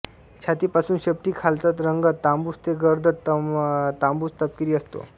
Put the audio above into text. छातीपासून शेपटीखालचा रंग तांबूस ते गर्द तांबूसतपकिरी असतो